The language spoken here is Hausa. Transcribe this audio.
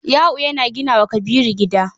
Yau yana gina wa Kabiru gida.